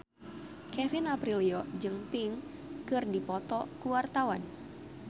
Kevin Aprilio jeung Pink keur dipoto ku wartawan